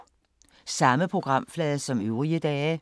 Samme programflade som øvrige dage